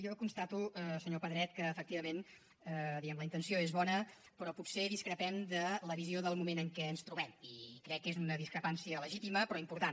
jo constato senyor pedret que efectivament diguem ne la intenció és bona però potser discrepem en la visió del moment en què ens trobem i crec que és una discrepància legítima però important